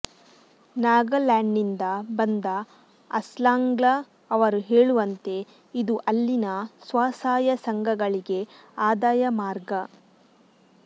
ನಾಗಾಲ್ಯಾಂಡ್ನಿಂದ ಬಂದ ಅಸ್ಲಾಂಗ್ಲಾ ಅವರು ಹೇಳುವಂತೆ ಇದು ಅಲ್ಲಿನ ಸ್ವಸಹಾಯ ಸಂಘಗಳಿಗೆ ಆದಾಯ ಮಾರ್ಗ